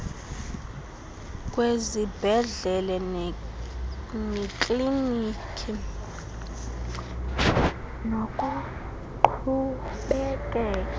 kwezibhedlele neekliniki nokuqhubekeka